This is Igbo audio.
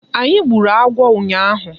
Anyị gburu agwọ ụnyaahụ.